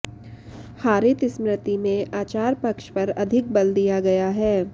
हारीत स्मृति में आचार पक्ष पर अधिक बल दिया गया है